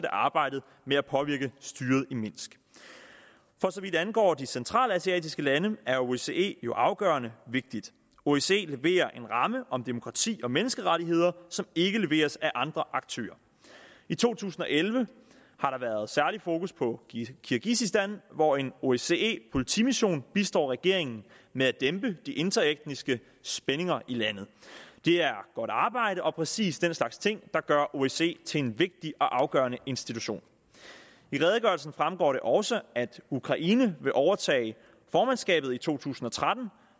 arbejdet med at påvirke styret i minsk for så vidt angår de centralasiatiske lande er osce jo afgørende vigtig osce leverer en ramme om demokrati og menneskerettigheder som ikke leveres af andre aktører i to tusind og elleve har der været særlig fokus på kirgisistan hvor en osce politimission bistår regeringen med at dæmpe de interetniske spændinger i landet det er godt arbejde og præcis den slags ting der gør osce til en vigtig og afgørende institution i redegørelsen fremgår det også at ukraine vil overtage formandskabet i to tusind og tretten